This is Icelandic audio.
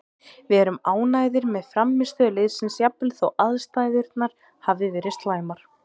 Við erum ánægðir með frammistöðu liðsins jafnvel þó aðstæðurnar hafi verið slæmar,